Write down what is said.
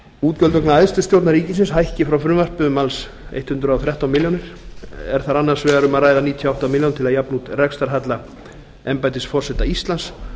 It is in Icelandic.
útgjöld vegna æðstu stjórnar ríkisins hækki frá frumvarpi um alls hundrað og þrettán milljónir er þar annars vegar um að ræða níutíu og átta milljónir til að jafna út rekstrarhalla embættis forseta íslands